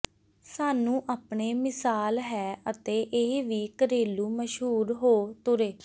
ਸਾਨੂੰ ਆਪਣੇ ਮਿਸਾਲ ਹੈ ਅਤੇ ਇਹ ਵੀ ਘਰੇਲੂ ਮਸ਼ਹੂਰ ਹੋ ਤੁਰੇ